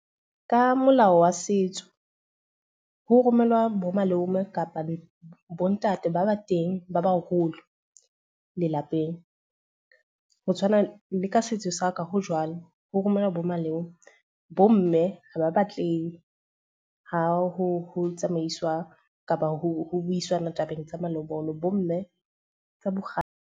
Ka molao wa setso, ho romellwa bo malome kapa bo ntate ba ba teng ba baholo lelapeng. Ho tshwana le ka setso sa ka ho jwalo, ho romellwa bo malome. Bo mme ha ba batle he ha ho tsamaiswa kapa ho buisana tabeng tsa malobola. Bo mme ka bo .